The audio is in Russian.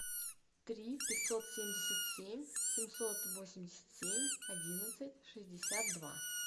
три пятьсот семьдесят семь семьсот восемьдесят семь одиннадцать шестьдесят два